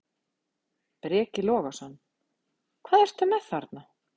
Breki Logason: Hvað ertu með þarna?